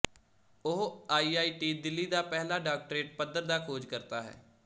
ਉਹ ਆਈਆਈਟੀ ਦਿੱਲੀ ਦਾ ਪਹਿਲਾ ਡਾਕਟਰੇਟ ਪੱਧਰ ਦਾ ਖੋਜ ਕਰਤਾ ਹੈ